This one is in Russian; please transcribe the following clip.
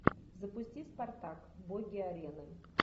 запусти спартак боги арены